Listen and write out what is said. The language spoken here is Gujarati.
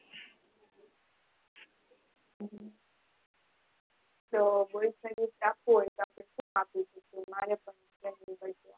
તો boys ને gift આપવું હોય તો શું આપી શકો મારે